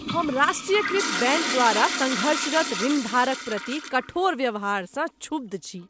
हम राष्ट्रीयकृत बैंक द्वारा संघर्षरत ऋणधारक प्रति कठोर व्यवहारसँ छुब्ध छी।